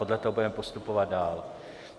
Podle toho budeme postupovat dál.